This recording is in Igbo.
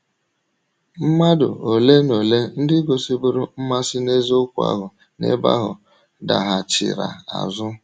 Mmàdụ ole na ole ndị gosìbụrụ mmasi n’eziokwu ahụ n’ebe ahụ daghàchìrà azụ.